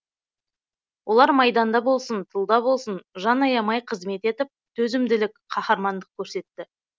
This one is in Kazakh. олар майданда болсын тылда болсын жан аямай қызмет етіп төзімділік қаһармандық көрсетті